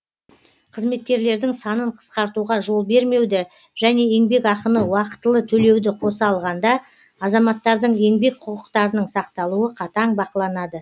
қызметкерлердің санын қысқартуға жол бермеуді және еңбекақыны уақытылы төлеуді қоса алғанда азаматтардың еңбек құқықтарының сақталуы қатаң бақыланады